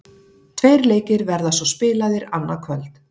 Tveir leikir verða svo spilaðir annað kvöld.